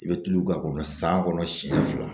I bɛ tulu k'a kɔnɔ san kɔnɔ siɲɛ fila